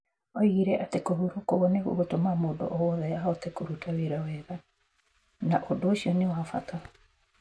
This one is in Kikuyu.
Oigire atĩ kũhurũka ũguo nĩ gũgũtũma mũndũ o wothe ahote kũruta wĩra wega. Na ũndũ ũcio nĩ wa bata.